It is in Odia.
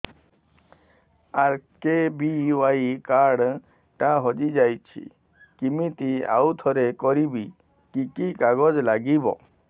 ଆର୍.କେ.ବି.ୱାଇ କାର୍ଡ ଟା ହଜିଯାଇଛି କିମିତି ଆଉଥରେ କରିବି କି କି କାଗଜ ଲାଗିବ